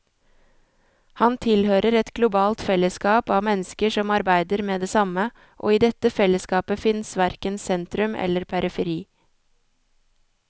Han tilhører et globalt fellesskap av mennesker som arbeider med det samme, og i dette fellesskapet fins verken sentrum eller periferi.